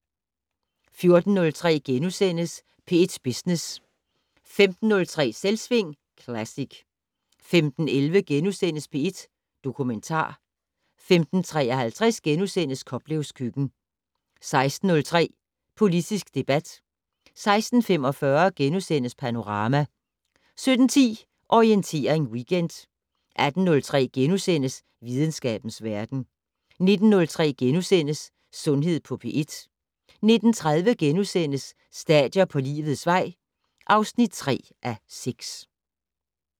14:03: P1 Business * 15:03: Selvsving Classic 15:11: P1 Dokumentar * 15:53: Koplevs køkken * 16:03: Politisk debat 16:45: Panorama * 17:10: Orientering Weekend 18:03: Videnskabens verden * 19:03: Sundhed på P1 * 19:30: Stadier på livets vej (3:6)*